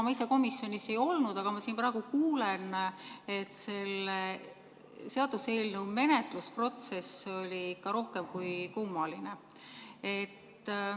Ma ise komisjonis ei olnud, aga praegu siin kuulen, et selle seaduseelnõu menetlemise protsess oli ikka rohkem kui kummaline.